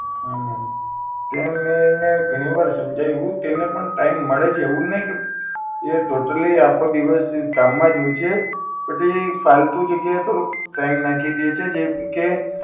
હા મેમ એ મેં એને ઘણીવાર સમજાયું કે એને પણ time મળે છે એવું નહીં કે એ totally આખો દિવસ કામ માંજ હોય છે પણ તે ફાલતુ જગ્યા એ થોડુંક time નાખી દે છે જેમકે